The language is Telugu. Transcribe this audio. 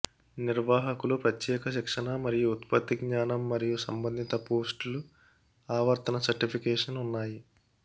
నిర్వాహకులు ప్రత్యేక శిక్షణ మరియు ఉత్పత్తి జ్ఞానం మరియు సంబంధిత పోస్ట్లు ఆవర్తన సర్టిఫికేషన్ ఉన్నాయి